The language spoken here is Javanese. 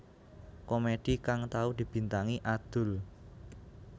Komedi kang tau dibintangi Adul